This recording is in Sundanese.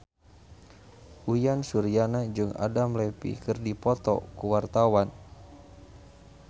Uyan Suryana jeung Adam Levine keur dipoto ku wartawan